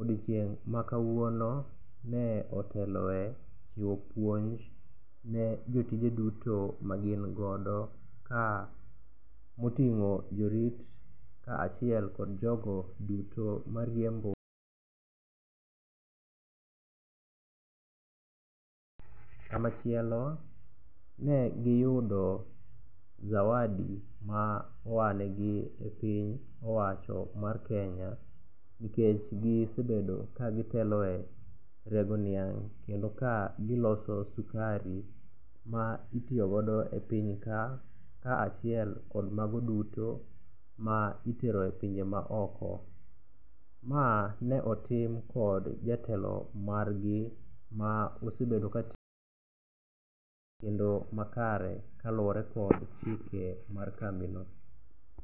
odiochieng' ma kawuono ne oteloe chiwo puonj ne jotije duto magin godo ka oting'o jorit achiel kod jogo duto mariembo kamachielo, ne giyudo zawadi ma oa negi e piny owacho mar Kenya nikech gisebedo ka gitelo e rego niang' kendo ka giloso sukari ma itiyo godo e piny ka, ka achiel kod mago duto ma itero e pinje maoko. Ma ne otim kod jatelo margi ma osebedo ka kendo makare kaluwore kod chike mar kambino.